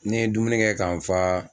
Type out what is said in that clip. Ni n ye dumuni kɛ kan fa